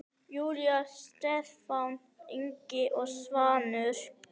Júlía, Stefán Ingi og Svanur.